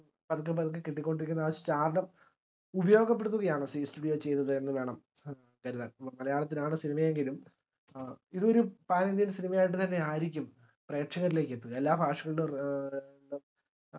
പതുക്കെപ്പതുക്കേ കിട്ടിക്കൊണ്ടിരിക്കുന്ന ആ stardom ഉപയോഗപ്പെടുത്തുകയാണ് zee studio ചെയ്തത് എന്നുവേണം കരുതാൻ മലയാളത്തിലാണ് cinema എങ്കിലും ഏർ ഇതൊരു panindian സിനിമയായിട്ട് തന്നെയായിരിക്കും പ്രേക്ഷകരിലേക്ക് എത്തുക എല്ലാ